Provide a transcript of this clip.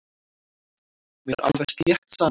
Mér er alveg slétt sama.